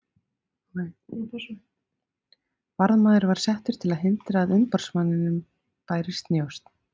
Varðmaður var settur til að hindra að umboðsmanninum bærist njósn.